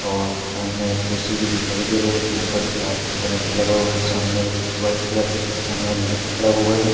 और सामने एक ए_सी भी दिखाई दे रहा है जो ऊपर दीवार पे कोने में लगा हुआ है सामने एक वाइट कलर का सेट शर्ट पहना हुआ लड़का खड़ा हुआ है।